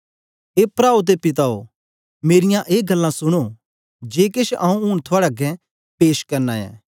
ए प्राओ ते पिताओ मेरीयां ए गल्लां सुनो जे केछ आंऊँ ऊन थुआड़े अगें पेश करना ऐ